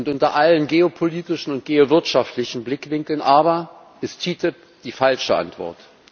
Unter allen geopolitischen und geowirtschaftlichen Blickwinkeln aber ist die TTIP die falsche Antwort.